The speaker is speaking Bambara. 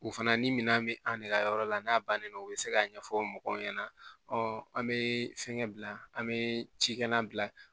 U fana ni minɛn bɛ an de ka yɔrɔ la n'a bannen do u bɛ se k'a ɲɛfɔ mɔgɔw ɲɛna an bɛ fɛnkɛ bila an be cikɛlan bila